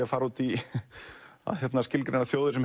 að fara út í að skilgreina